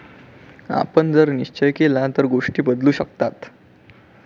आपण जर निश्चय केला तर गोष्टी बदलू शकतात.